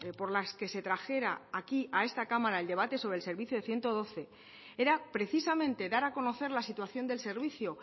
por las que se trajera aquí a esta cámara el debate sobre el servicio ciento doce era precisamente dar a conocer la situación del servicio